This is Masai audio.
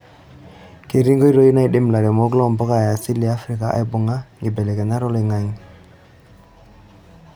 Ketii nkpitoi naidim lairemok loo mpuka e asili e Afrika aibungie nkibelekenyat oloing'ang'e.